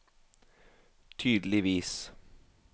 tydeligvis